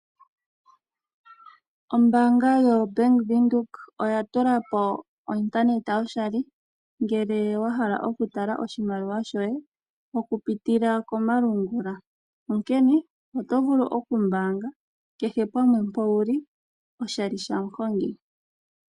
Ombaanga yoBank Windhoek oyatulapo o Internet yoshali, ngele wahala okutala oshimaliwa shoye okupitila komalungula. Onkene oto vulu okumbaanga kehe pamwe mpa wuli, oshali shamuhongi.